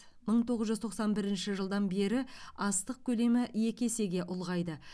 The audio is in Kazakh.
мың тоғыз жүз тоқсан бірінші жылдан бері астық көлемі екі есеге ұлғайды